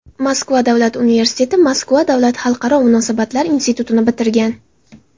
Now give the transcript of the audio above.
Moskva davlat universiteti, Moskva davlat xalqaro munosabatlar institutini bitirgan.